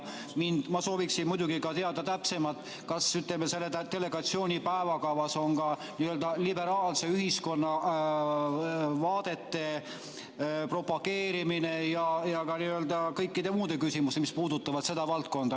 Ma sooviksin muidugi teada täpsemalt, kas, ütleme, selle delegatsiooni päevakavas on ka n‑ö liberaalse ühiskonna vaadete propageerimine ja kõik muud küsimused, mis puudutavad seda valdkonda.